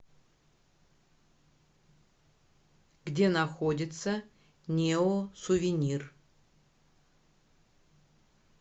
где находится неосувенир